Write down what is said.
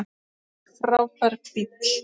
Þetta er frábær bíll.